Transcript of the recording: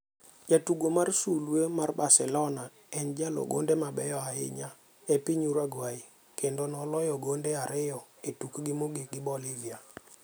Jatugo mar Sulweni mar Barcelona en e jaloo gonde mabeyo ahinya e piny uruguay kendo noloyo gonde ariyo e tukgi mogik gi Bolivia.